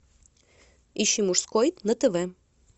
ищи мужской на тв